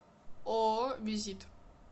ооо визит